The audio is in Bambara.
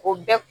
O bɛɛ